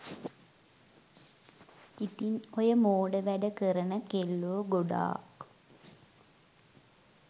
ඉතින් ඔය මෝඩ වැඩ කරන කෙල්ලෝ ගොඩාක්